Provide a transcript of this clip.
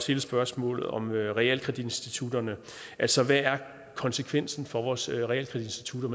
hele spørgsmålet om realkreditinstitutterne altså hvad konsekvenserne for vores realkreditinstitutter